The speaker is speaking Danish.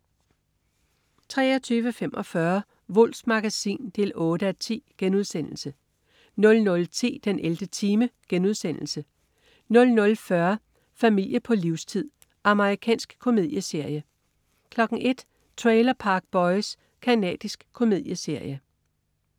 23.45 Wulffs Magasin 8:10* 00.10 den 11. time* 00.40 Familie på livstid. Amerikansk komedieserie 01.00 Trailer Park Boys. Canadisk komedieserie